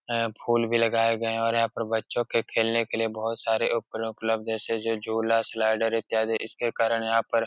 हैं फूल भी लगाए गए और यहाँ पर बच्चों के खेलने के लिए बोहोत सारे उपकरण उपलब्ध हैं। से जो झूला स्लाइडर इत्यादि। इसके कारण यहाँ पर --